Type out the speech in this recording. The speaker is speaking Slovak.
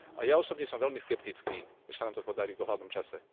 A ja osobne som veľmi skeptický, že sa nám to podarí v dohľadnom čase.